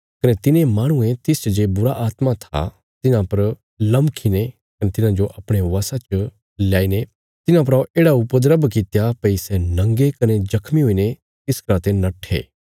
कने तिने माहणुये तिसच जे बुरीआत्मा थिआं तिन्हां पर लमखी ने कने तिन्हांजो अपणे बशा च लयाई ने तिन्हां परा येढ़ा उपद्रव कित्या भई सै नंगे कने जख्मी हुईने तिस घरा ते नट्ठे